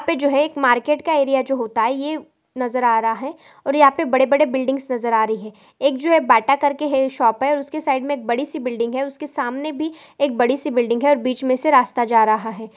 यहाँ पे जो है मार्केट एरिया जो होता है ये नजर आ रहा है और यहाँ पे बड़े बड़े बिल्डिंग्स नजर आ रही है एक जो बाटा करके शॉप हे उसके साइड मे बड़ी सी बिल्डिंग उसके सामने भी एक बड़ी सी बिल्डिंग हे और बिच मे से रास्ता जा रहा है।